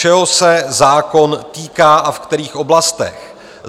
Čeho se zákon týká, a ve kterých oblastech?